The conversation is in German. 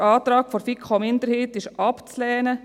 Der Antrag der FiKo-Minderheit ist abzulehnen.